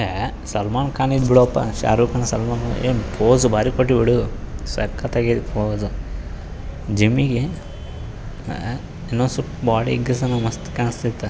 ಅ ಸಲ್ಮಾನ್ ಖಾನ್ ಇದ್ ಬಿಡಪ್ಪ ಶಾರುಖ್ ಖಾನ್ ಸಲ್ಮಾನ್ ಖಾನ್ ಏನ್ ಪೋಸ್ ಬಾರಿ ಕೊಟ್ಟಿ ಬಿಡು ಸಕ್ಕತ್ತಾಗಿದೆ ಪೋಸು . ಜಿಮ್ಮಿಗಿ ಅ ಇನ್ನೊಂದ್ ಸ್ವಲ್ಪ ಬಾಡಿ ಗೀಸ್ಸನ ಮಸ್ತ್ ಕಾಣಿಸ್ತೀತ.